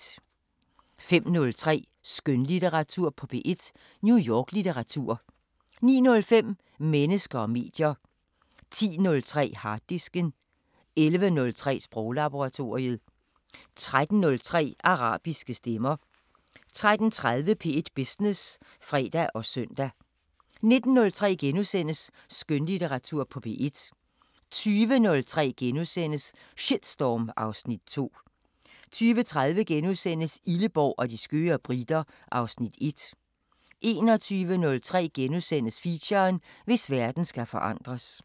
05:03: Skønlitteratur på P1: New York-litteratur 09:05: Mennesker og medier 10:03: Harddisken 11:03: Sproglaboratoriet 13:03: Arabiske Stemmer 13:30: P1 Business (fre og søn) 19:03: Skønlitteratur på P1 * 20:03: Shitstorm (Afs. 2)* 20:30: Illeborg og de skøre briter (Afs. 1)* 21:03: Feature: Hvis verden skal forandres *